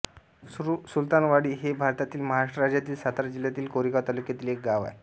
सुलतानवाडी हे भारतातील महाराष्ट्र राज्यातील सातारा जिल्ह्यातील कोरेगाव तालुक्यातील एक गाव आहे